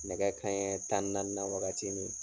Nɛgɛ kanɲɛ tan ni naani na wagati min.